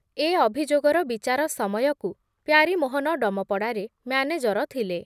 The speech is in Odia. ଏ ଅଭିଯୋଗର ବିଚାର ସମୟକୁ ପ୍ୟାରୀମୋହନ ଡମପଡ଼ାରେ ମ୍ୟାନେଜର ଥିଲେ ।